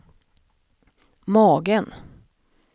magen